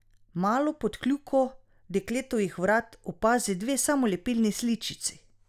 Malo pod kljuko dekletovih vrat opazi dve samolepilni sličici.